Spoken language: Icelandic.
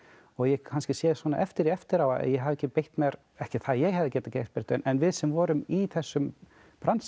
ég kannski sé eftir því eftir á að ég hafi ekki beitt mér ekki það að ég hafi getað gert neitt en við sem vorum í þessum bransa